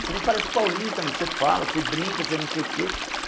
Você nem parece paulista, meu você fala, você brinca, você não sei o quê.